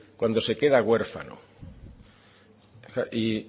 cuando se queda huérfano y